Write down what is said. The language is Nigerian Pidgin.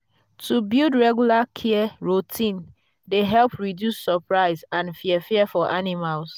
to build regular care routine dey help reduce surprise and fear fear for animals.